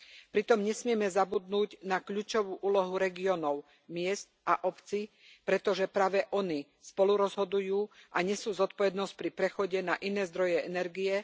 Pritom nesmieme zabudnúť na kľúčovú úlohu regiónov, miest a obcí, pretože práve ony spolurozhodujú a nesú zodpovednosť pri prechode na iné zdroje energie.